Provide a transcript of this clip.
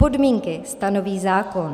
Podmínky stanoví zákon.